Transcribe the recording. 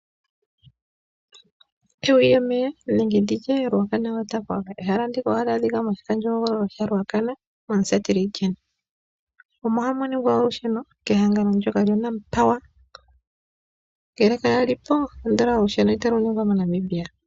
Ruacana waterfalls ehala ndoka ha li adhika moshikandjohogolo shaRuacana moshitopolwa shaMusati. Omo hamuningwa olusheno kehangano ndjoka lya-Nampower. Ngele kaga lipo ando olusheno moNamibia kalumo.